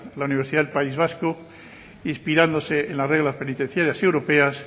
la universidad del país vasco inspirándose en las reglas penitenciarias y europeas